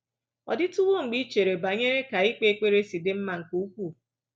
Ọ dịtuwo mgbe i chere banyere ka ikpe ekpere si dị mma nke ukwuu?